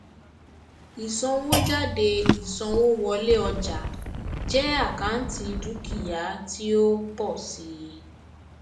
ìsanwójáde ìsanwówọlé ọjà jẹ àkáǹtì dúkìá tí ó ń pọ síi